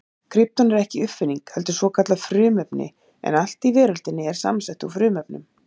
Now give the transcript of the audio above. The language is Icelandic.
Krypton er ekki uppfinning heldur svokallað frumefni en allt í veröldinni er samsett úr frumefnum.